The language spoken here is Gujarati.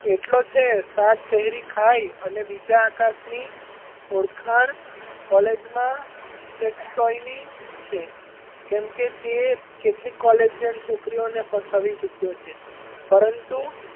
એટલો છે સાત પહેરી ખાય અને બીજા આકાશની ઓડખાંણ college માં sex toy ની છે કેમ કે, તે કેટલીક collegian છોકરીઓને ફસાવી ચૂક્યો છે પરંતુ,